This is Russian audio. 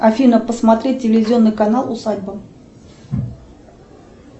афина посмотри телевизионный канал усадьба